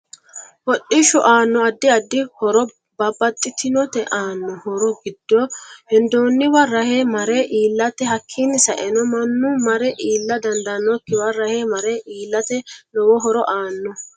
Hodhishu aanno addi addi horo babbaxitinote aanno horo giddo hendooniwa rahe mare iiltate hakiini saenno mannu mare iila dandaanokiwa rahe mare iilate lowo horo aanno